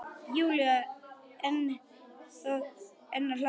Júlía enn að hlæja.